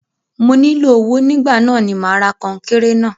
Mo nílò owó nígbà náà ni mà ra kọńkéré náà.